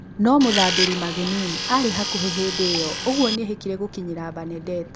No mũthambĩri Magnini arĩ hakuhĩ hĩndĩ ĩyo ũguo nĩehĩkire gũkinyĩra Banedetto